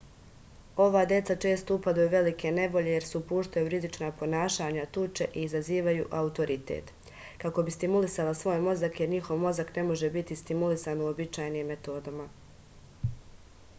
ova deca često upadaju u velike nevolje jer se upuštaju u rizična ponašanja tuče i izazivaju autoritet kako bi stimulisala svoj mozak jer njihov mozak ne može biti stimulisan uobičajenim metodama